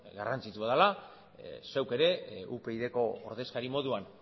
garrantzitsua dela zeuk ere upydko ordezkari moduan